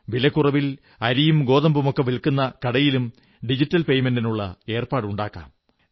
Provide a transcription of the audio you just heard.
വിലക്കുറവിൽ അരിയും ഗോതമ്പുമൊക്കെ വില്ക്കുന്ന കടയിലും ഡിജിറ്റൽ പെയ്മെന്റിനുള്ള ഏർപ്പാടുണ്ടാക്കാം